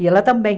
E ela também.